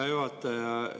Hea juhataja!